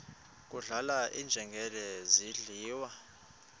kudlala iinjengele zidliwa